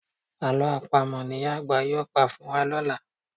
Àlọ́ Àpamọ̀ ni ìyá àgbà yóò pa fún wa lọ́la